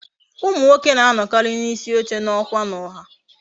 Umu nwoke na anowakari na isi oche na okwa na ọha